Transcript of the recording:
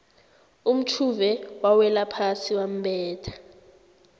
umtjhuve wawelaphasi wambetha